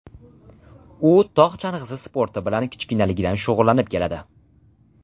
U tog‘ chang‘isi sporti bilan kichkinaligidan shug‘ullanib keladi.